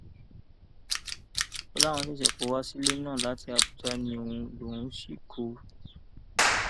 ó láwọn ṣẹṣẹ kọ wá sílẹ náà láti àbújá ní òun lòún sì kọ ọ